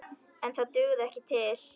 En það dugði ekki til.